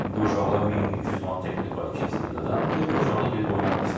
İndi o uşaqlara 1000, 1200 manat təklif var ikinci liqadan və uşaqlar gedib oynamaq istəyir.